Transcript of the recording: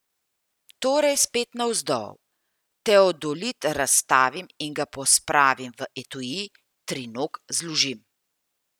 Torej spet navzdol, teodolit razstavim in ga pospravim v etui, trinog zložim.